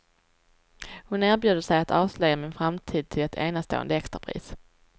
Hon erbjuder sig att avslöja min framtid till ett enastående extrapris.